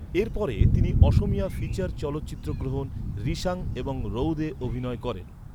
এর পরে, তিনি অসমীয়া ফিচার চলচ্চিত্র গ্রহন, রিশাং এবং রউদে অভিনয় করেন।